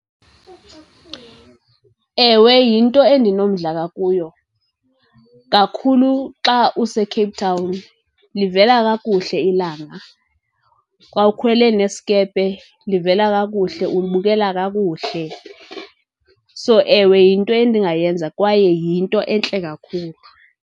Ewe, yinto endinomdla ngakuyo, kakhulu xa useCape Town livela kakuhle ilanga. Xa ukhwele neskepe livela kakuhle, ulibukela kakuhle. So, ewe yinto endingayenza kwaye yinto entle kakhulu.